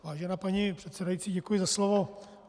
Vážená paní předsedající, děkuji za slovo.